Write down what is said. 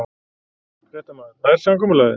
Fréttamaður: Nær samkomulagið?